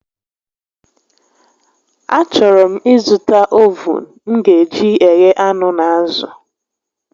A chọrọ m ị zụta ovuun m ga eji eghe anụ na azụ